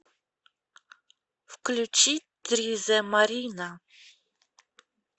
включи тризэ марина